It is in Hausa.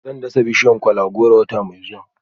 Zan dasa bishiyar kola-goro wata mai zuwa